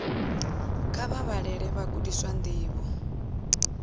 kha vha vhalele vhagudiswa ndivho